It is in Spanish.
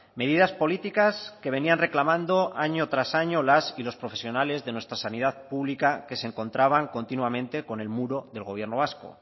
medidas políticas que venían reclamando año tras año las y los profesionales de nuestra sanidad pública que se encontraban continuamente con el muro del gobierno vasco